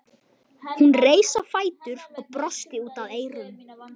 Hún reis á fætur og brosti út að eyrum.